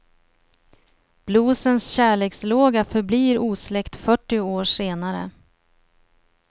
Bluesens kärlekslåga förblir osläckt fyrtio år senare.